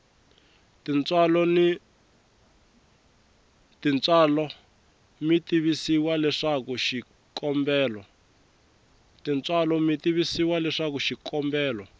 tintswalo mi tivisiwa leswaku xikombelo